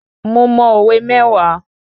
Mo mọ òwe mẹ́wàá